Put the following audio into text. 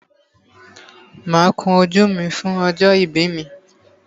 Máa kun ojú mi fún ọjọ́ ìbí mi.